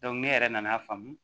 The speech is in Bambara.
ne yɛrɛ nan'a faamu